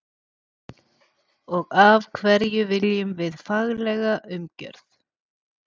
Og af hverju viljum við faglega umgjörð?